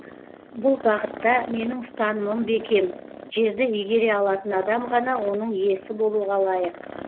бұл бағытта менің ұстанымым бекем жерді игере алатын адам ғана оның иесі болуға лайық